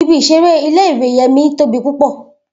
Ibi isere ìle-ìwe Yemi tobi pupọ.